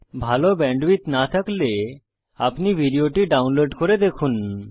ভাল ব্যান্ডউইডথ না থাকলে আপনি ভিডিও টি ডাউনলোড করে দেখুন